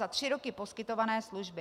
za tři roky poskytované služby.